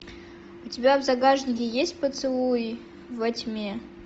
у тебя в загашнике есть поцелуи во тьме